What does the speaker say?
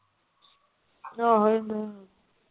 ਆਹੋ ਇਹ ਤੇ ਹੈ।